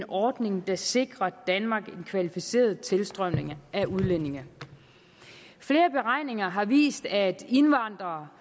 ordning der sikrer danmark en kvalificeret tilstrømning af udlændinge flere beregninger har vist at indvandrere